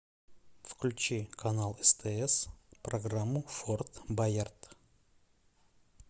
включи канал стс программу форт боярд